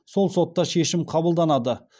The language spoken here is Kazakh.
сол сотта шешім қабылданады